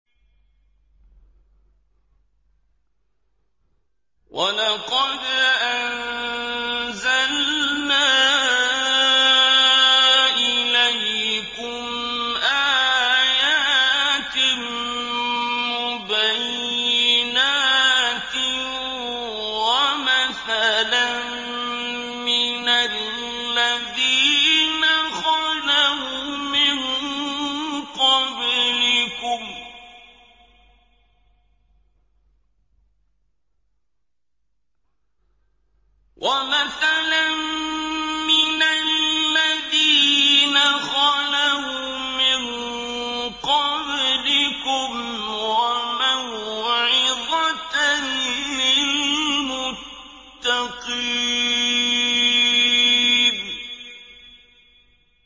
وَلَقَدْ أَنزَلْنَا إِلَيْكُمْ آيَاتٍ مُّبَيِّنَاتٍ وَمَثَلًا مِّنَ الَّذِينَ خَلَوْا مِن قَبْلِكُمْ وَمَوْعِظَةً لِّلْمُتَّقِينَ